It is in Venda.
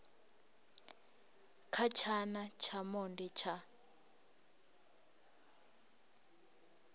kha tshana tsha monde tsha